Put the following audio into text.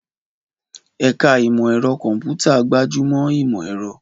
Ẹ̀ka Ìmọ̀ Ẹ̀rọ Kọ̀m̀pútà gbájú mọ́ ìmọ̀ ẹ̀rọ.